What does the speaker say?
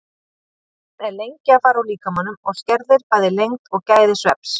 Koffín er lengi að fara úr líkamanum og skerðir bæði lengd og gæði svefns.